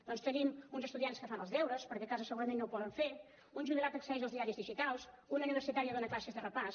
doncs tenim uns estudiants que fan els deures perquè a casa segurament no ho poden fer un jubilat que accedeix als diaris digitals una universitària dona classes de repàs